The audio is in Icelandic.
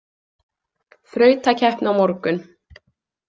Þrautakeppni á morgun.